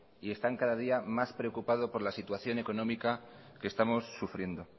y están cada día más preocupados por la situación económica que estamos sufriendo